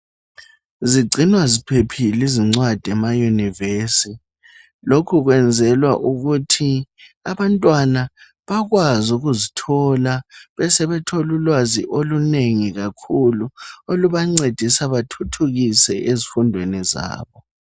Zigcinwa ziphephile izincwadi emayunivesithi lokhu kwenzelwa ukuthi abantwana bakwazi ukuzithola besebethola ulwazi olunengi kakhulu olubancedisa bathuthukiswe ezifundweni zabo.